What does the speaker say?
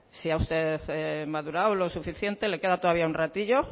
si usted ha madurado lo suficiente le queda todavía un ratillo